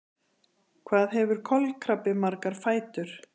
Hvað hefur kolkrabbi marga fætur?